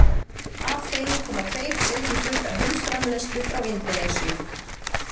af þeim koma tveir þriðju hlutar heimsframleiðslu frá indónesíu